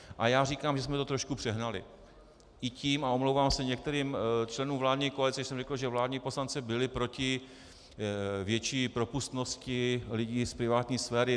A já říkám, že jsme to trošku přehnali i tím, a omlouvám se některým členům vládní koalice, že jsem řekl, že vládní poslanci byli proti větší propustnosti lidí z privátní sféry.